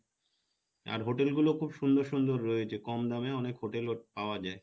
আর hotel গুলো খুব সুন্দর সুন্দর রয়েছে কম দামে অনেক hotel পাওয়া যাই